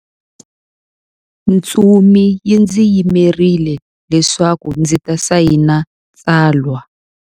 Ntsumi yi ndzi yimerile leswaku ndzi ta sayina tsalwa.